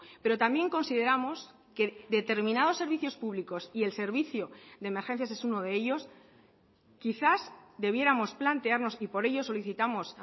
pero también consideramos que determinados servicios públicos y el servicio de emergencias es uno de ellos quizás debiéramos plantearnos y por ello solicitamos